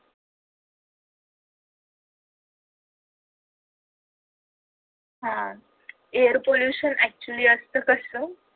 आह air pollution actually असत कसं